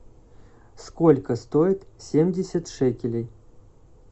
сколько стоит семьдесят шекелей